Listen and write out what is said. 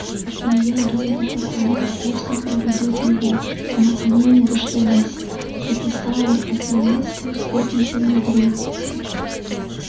илья думал пацаны с курса проведут его но они не дождались записали смску встретимся внутри